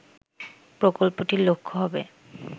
প্রকল্পটির লক্ষ হবে